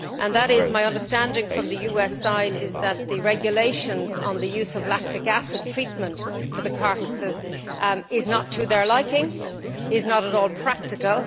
It is my understanding from the US side that the regulations on the use of lactic acid treatment for the carcases is not to their liking, is not at all practical.